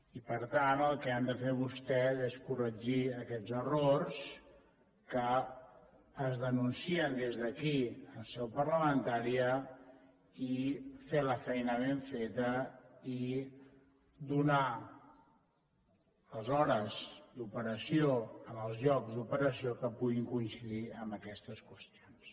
i per tant el que han de fer vostès és corregir aquests errors que es denuncien des d’aquí en seu parlamentària i fer la feina ben feta i donar les hores d’operació en els llocs d’operació que puguin coincidir amb aquestes qüestions